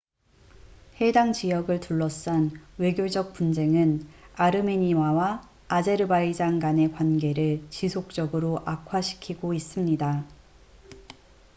해당 지역을 둘러싼 외교적 분쟁은 아르메니아와 아제르바이잔 간의 관계를 지속적으로 악화시키고 있습니다